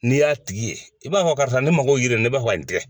N'i y'a tigi ye i b'a fɔ karisa ne mago bɛ yiri la ne b'a fɛ ka nin tigɛ.